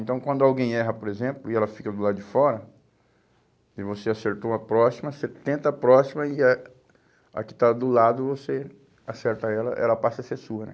Então quando alguém erra, por exemplo, e ela fica do lado de fora, e você acertou a próxima, você tenta a próxima e a a que está do lado você acerta ela, ela passa a ser sua, né?